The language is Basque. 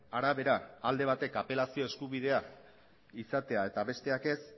arabera alde batek apelazio eskubidea izatea eta besteak ez